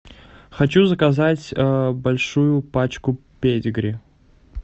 хочу заказать большую пачку педигри